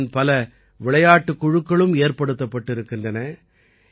பஞ்சாபின் பல விளையாட்டுக் குழுக்களும் ஏற்படுத்தப்பட்டிருக்கின்றன